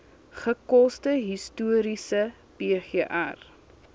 gekose historiese pgr